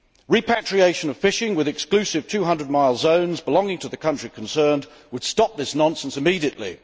Repatriation of fishing with exclusive 200 mile zones belonging to the country concerned would stop this nonsense immediately.